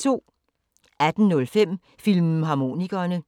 18:05: Filmharmonikerne